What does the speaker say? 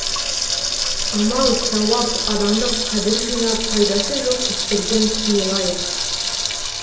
амал сауап адамдық қадір жинап пайдасы жоқ істерден тыйылайық